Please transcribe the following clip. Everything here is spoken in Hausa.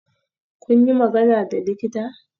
Kun yi magana da likita?